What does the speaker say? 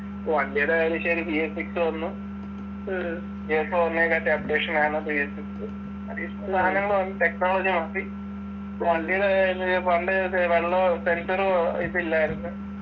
വണ്ടിടെ ആയാലും ശരി BSsix വന്നു j four നേക്കാട്ടിം updation ആണ് BSsix technology മാറ്റി വണ്ടിടെ പണ്ടേത്തെ വെള്ളോ sensor ഉ ഇപ്പില്ലായിരുന്ന്